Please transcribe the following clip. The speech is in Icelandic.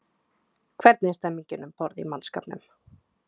Hvernig er stemningin um borð í mannskapnum?